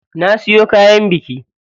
Na siyo kayan biki.